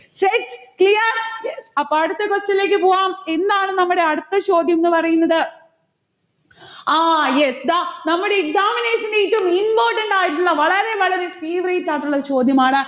set? clear? yes അപ്പൊ അടുത്ത question ലേക്ക് പോകാം. എന്താണ് നമ്മടെ അടുത്ത ചോദ്യംന്ന് പറയുന്നത്. ആ yes ദാ നമ്മടെ examination ന് ഏറ്റവും important ആയിട്ടുള്ള വളരെ വളരെ favourite ആയിട്ടുള്ള ചോദ്യമാണ്.